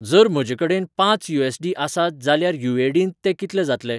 जर म्हजेकडेन पांच यू.ऍस. डी. आसात जाल्यार ए.यु.डीं.त ते कितले जातले?